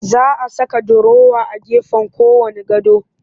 Za a saka durowa a gefen kowanne gado